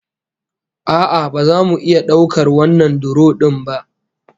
A'a, ba za mu iya daukar wannan duro din ba